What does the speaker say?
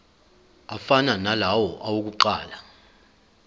afana nalawo awokuqala